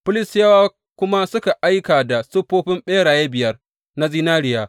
Filistiyawa kuma suka aika da siffofin ɓeraye biyar na zinariya.